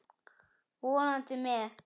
Vonandi með.